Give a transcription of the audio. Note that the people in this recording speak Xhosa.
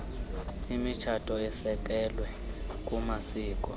imitshato esekelwe kumasiko